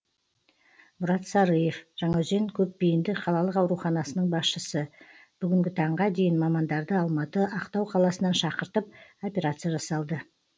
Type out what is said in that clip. мұрат сарыев жаңаөзен көпбейінді қалалық ауруханасының басшысы бүгінгі таңға дейін мамандарды алматы ақтау қаласынан шақыртып операция жасалды